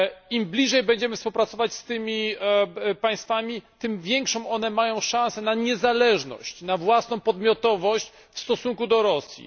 Im bliżej będziemy współpracować z tymi państwami, tym większą mają one szansę na niezależność i, własną podmiotowość w stosunku do Rosji.